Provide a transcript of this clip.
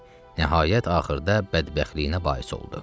Nəhayət axırda bədbəxtliyinə bais oldu.